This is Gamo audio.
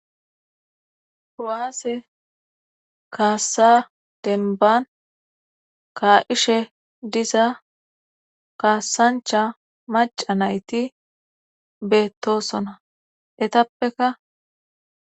ko7aase kaassa denban ka7ishe diza kaassancha maca nayti beettosona etappeka.